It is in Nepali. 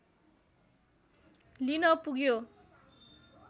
लिन पुग्यो